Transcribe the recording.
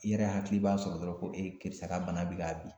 I yɛrɛ hakili b'a sɔrɔ dɔrɔn ko e kɛrisa ka bana bɛ ka bin.